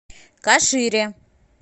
кашире